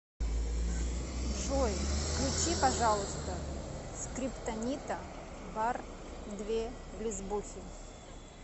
джой включи пожалуйста скриптонита бар две лесбухи